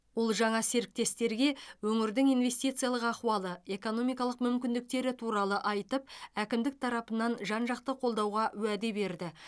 ол жаңа серіктестерге өңірдің инвестициялық ахуалы экономикалық мүмкіндіктері туралы айтып әкімдік тарапынан жан жақты қолдауға уәде берді